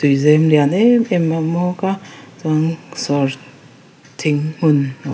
tuizem lian emem a awm bawk a chuan sawr thing hmun a--